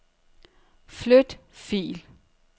Flyt fil.